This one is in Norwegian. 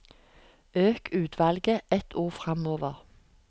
Øk utvalget ett ord framover